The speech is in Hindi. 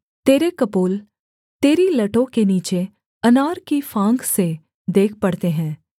तेरे कपोल तेरी लटों के नीचे अनार की फाँक से देख पड़ते हैं